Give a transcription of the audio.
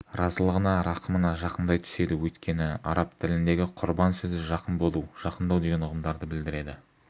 разылығына рақымына жақындай түседі өйткені араб тіліндегі құрбан сөзі жақын болу жақындау деген ұғымдарды білдіреді